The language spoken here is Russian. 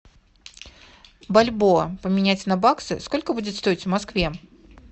бальбоа поменять на баксы сколько будет стоить в москве